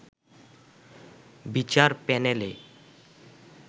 বিচার প্যানেলে